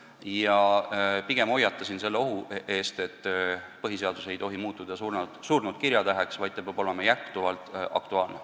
Ma pigem hoiatasin selle ohu eest, et põhiseadus ei tohi muutuda surnud kirjatäheks, vaid ta peab olema kogu aeg aktuaalne.